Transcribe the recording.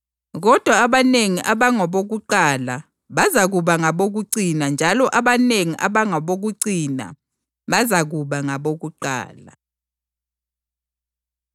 Njalo bonke labo abatshiye izindlu zabo, loba abafowabo, loba odadewabo kumbe uyise loba unina kumbe abantwana loba amasimu ngenxa yami bazakwamukeliswa okwandiswe ngekhulu njalo bazakudla ilifa lokuphila okungapheliyo.